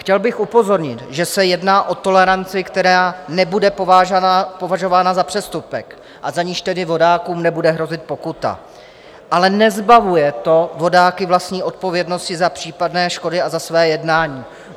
Chtěl bych upozornit, že se jedná o toleranci, která nebude považována za přestupek a za niž tedy vodákům nebude hrozit pokuta, ale nezbavuje to vodáky vlastní odpovědnosti za případné škody a za své jednání.